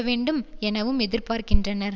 வேண்டும் எனவும் எதிர்பார்க்கின்றனர்